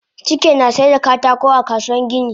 Chike nasaida katako a kasuwan kayan gini